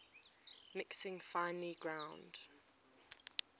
mixing finely ground